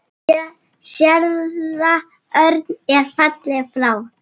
Séra Örn er fallinn frá.